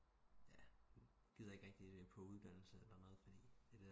Ja gider ikke rigtigt på uddannelse eller noget fordi